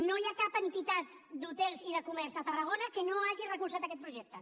no hi ha cap entitat d’hotels i de comerç a tarragona que no hagi recolzat aquest projecte